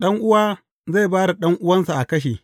Ɗan’uwa zai ba da ɗan’uwa a kashe.